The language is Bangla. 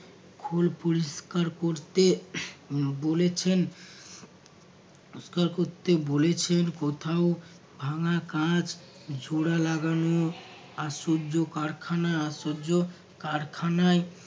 ফুল পরিষ্কার করতে বলেছেন পরিষ্কার করতে বলেছেন কোথাও ভাঙ্গা কাঁচ জোরা লাগানো আশ্চর্য কারখানা আশ্চর্য কারখানায়